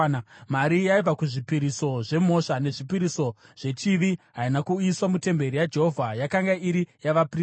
Mari yaibva kuzvipiriso zvemhosva nezvipiriso zvechivi haina kuuyiswa mutemberi yaJehovha; yakanga iri yavaprista.